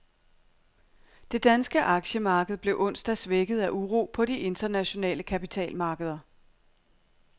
Det danske aktiemarked blev onsdag svækket af uro på de internationale kapitalmarkeder.